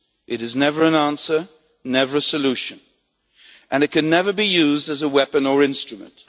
It is never an answer, never a solution, and it can never be used as a weapon or instrument.